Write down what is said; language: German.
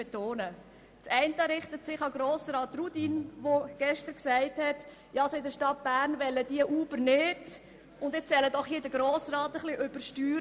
Der eine richtet sich an Grossrat Rudin, der gestern sagte, in die Stadt Bern wolle Uber von sich aus nicht, und jetzt soll doch hierbei der Grosse Rat übersteuern.